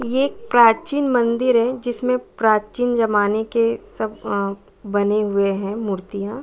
ये प्राचीन मंदिर है जिसमे प्राचीन ज़माने के सब अ बने हुए है मूर्तियाँ।